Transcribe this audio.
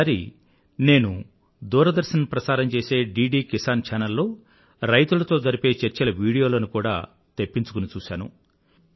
ఈసారి నేను దూరదర్శన్ ప్రసారం చేసే డిడి కిసాన్ ఛానల్ లో రైతులతో జరిపే చర్చల వీడియోలను కూడా నేను తెప్పించుకుని చూశాను